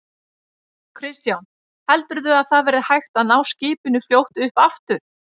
Kristján: Heldurðu að það verði hægt að ná skipinu fljótt upp aftur?